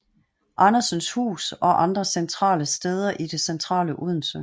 Andersens Hus og andre centrale steder i det centrale Odense